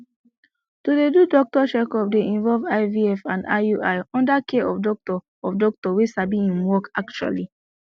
to dey do doctor checkup dey involve ivf and iui under care of doctor of doctor wey sabi im work actually